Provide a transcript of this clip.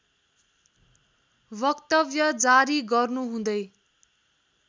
वक्तव्य जारी गर्नुहुँदै